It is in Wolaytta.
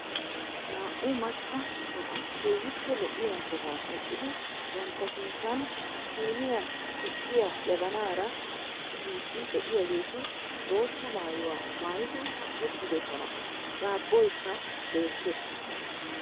Naa"u macca asati keehippe lo'iya sohuwan eqqidi bantta sinttan siiniyan tukkiya jabbanaara tigiidi de'iyageeti bootta maayuwa mayidi uttiddosona, daabboykka beettees.